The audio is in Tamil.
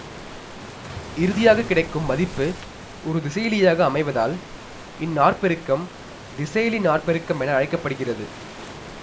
இறுதியாகக் கிடைக்கும் மதிப்பு ஒரு திசையிலியாக அமைவதால் இந்நாற்பெருக்கம் திசையிலி நாற்பெருக்கமென அழைக்க படுகிறது